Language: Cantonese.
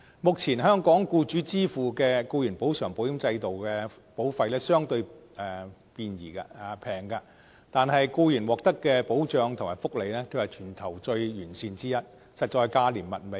目前，香港僱主支付的僱員補償保險制度的保費相對便宜，但僱員獲得的保障和福利卻是全球最完善的地方之一，實在是價廉物美。